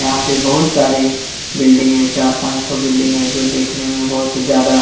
यहाँ पे बहुत सारे बिल्डिंग है चार पांच ठो बिल्डिंग है जो देखने में बहुत ज्यादा--